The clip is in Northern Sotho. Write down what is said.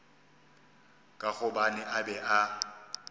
ka gobane a be a